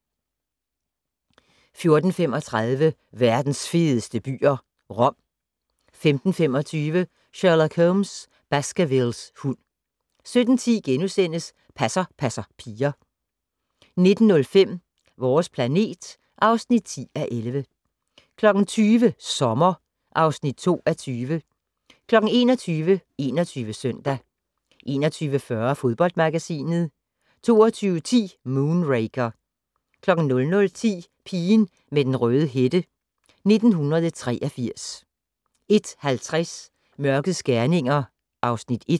14:35: Verdens fedeste byer - Rom 15:25: Sherlock Holmes: Baskervilles hund 17:10: Passer passer piger * 19:05: Vores planet (10:11) 20:00: Sommer (2:20) 21:00: 21 Søndag 21:40: Fodboldmagasinet 22:10: Moonraker 00:10: Pigen med den røde hætte: 1983 01:50: Mørkets gerninger (Afs. 1)